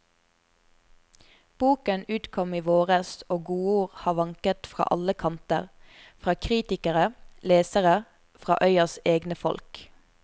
Boken utkom i våres, og godord har vanket fra alle kanter, fra kritikere, lesere, fra øyas egne folk.